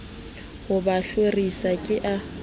ho ba hlorisa ke a